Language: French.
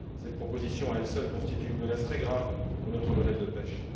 Cette proposition, à elle seule, constitue une menace très grave pour notre modèle de pêche.